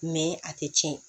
a tɛ tiɲɛ